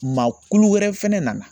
Maa kulu wɛrɛ fɛnɛ nana